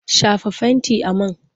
Shafa fentin a man!